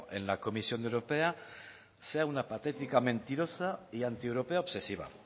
en la comisión europea sea una patética mentirosa y antieuropea obsesiva